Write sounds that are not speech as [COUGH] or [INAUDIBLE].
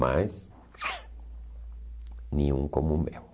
Mas... [UNINTELLIGIBLE] Nenhum como o meu.